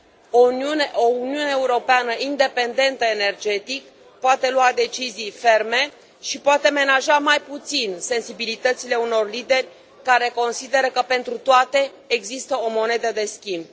O Uniune Europeană independentă energetic poate lua decizii ferme și poate menaja mai puțin sensibilitățile unor lideri care consideră că pentru toate există o monedă de schimb.